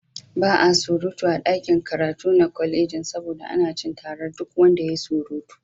Ba a surutu a ɗakin karatu na kwalejin saboda ana cin tarar duk wanda yayi surutu.